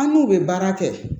An n'u bɛ baara kɛ